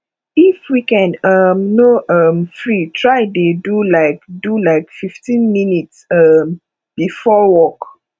if weekend um no um free try dey do lyk do lyk fif ten minits um bifor work